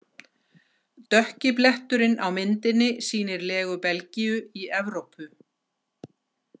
Dökki bletturinn á myndinni sýnir legu Belgíu í Evrópu.